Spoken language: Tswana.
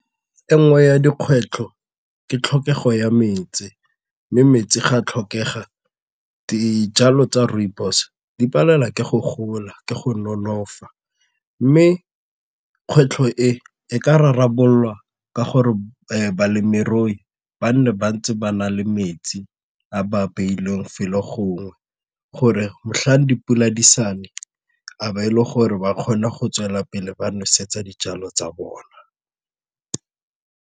Enngwe ya dikgwetlho ke tlhokego ya metsi mme metsi ga tlhokega, dijalo tsa rooibos di palelwa ke go gola ke go nolofatsa mme kgwetlho e e ka rarabololwa ka gore balemirui ba nne ba ntse ba na le metsi a ba beilweng fa le gongwe gore motlhang dipula di sa ne a ba e le gore ba kgone go tswelela pele ba nosetsa dijalo tsa bona.